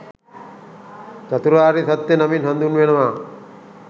චතුරාර්ය සත්‍ය නමින් හඳුන්වනවා.